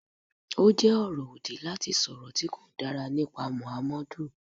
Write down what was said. Ó jẹ́ ọ̀rọ̀ òdì láti sọ̀rọ̀ tí kò dára nípa Mọ̀hámọ́dù.